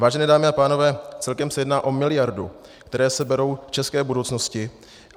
Vážené dámy a pánové, celkem se jedná o miliardu, která se bere české budoucnosti.